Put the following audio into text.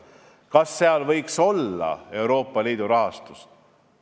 Kas seal võiks olla Euroopa Liidu rahastust?